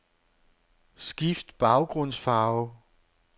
Skift baggrundsfarve.